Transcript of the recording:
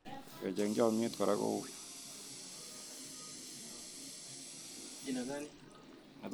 Kecheg chomnyet kora kouy